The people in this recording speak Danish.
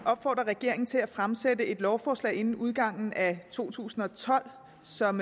opfordrer regeringen til at fremsætte et lovforslag inden udgangen af to tusind og tolv som